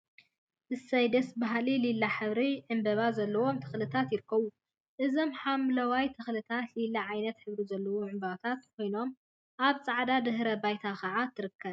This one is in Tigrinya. እሰይ ደስ በሃሊ ሊላ ሕብሪ ዕምበባ ዘለዎም ተክሊታት ይርከቡ፡፡ እዞም ሓምለዎት ተክሊታት ሊላ ዓይነት ሕብሪ ዘለዎም ዕመበባታት ኮይኖም አብ ፃዕዳ ድሕረ ባይታ ከዓ ትርከብ፡፡